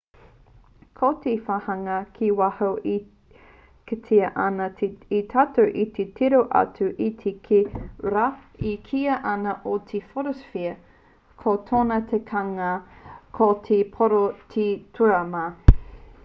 ko te wāhanga ki waho e kitea ana e tātou i te tiro atu ki te rā e kīia ana ko te photosphere ko tōna tikanga ko te pōro o te tūrama